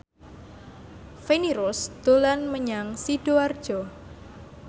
Feni Rose dolan menyang Sidoarjo